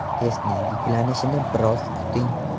Testning yuklanishini biroz kuting!